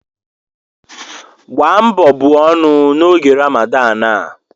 Gbaa mbọ buo ọnụ n'oge Ramadan a